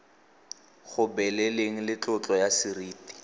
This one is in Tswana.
gobeleleng le tlotlo ya seriti